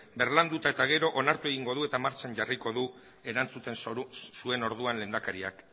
birlandu eta gero onartu egingo du eta martxan jarriko du erantzuten zuen orduan lehendakariak